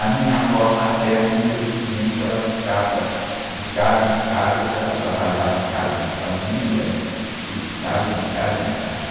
A minha avó materna, infelizmente, ficava de casa em casa, porque ela trabalhava em casa de família, né? E ficava de casa em casa.